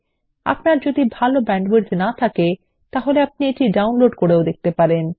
আপনার যদি ভাল ব্যান্ডউইডথ না থাকে আপনি এটি ডাউনলোড করেও দেখতে পারেন